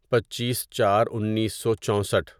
پچیس چار انیسو چوسٹھ